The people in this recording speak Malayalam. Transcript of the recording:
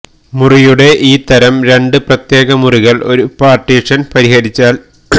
മുറിയുടെ ഈ തരം രണ്ട് പ്രത്യേക മുറികൾ ഒരു പാർട്ടീഷൻ ഹരിച്ചാൽ